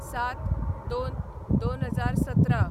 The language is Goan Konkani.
०७/०२/२०१७